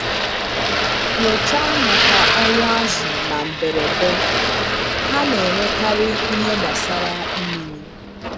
Nyochaa maka ọnwụ azụ̀ na mberede—ha na-enwekarị ihe gbasara mmiri.